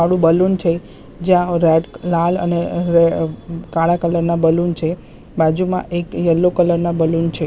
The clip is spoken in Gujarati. કાળું બલૂન છે જ્યાં અહ લાલ અને રે અહ કાળા કલર ના બલૂન છે બાજુમાં એક યેલ્લો કલર ના બલૂન છે.